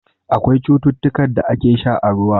Akwai cutukan da ake sha a ruwa.